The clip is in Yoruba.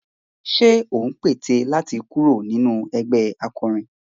Ṣé ò ń pète láti kúrò nínú ẹgbẹh akọrin?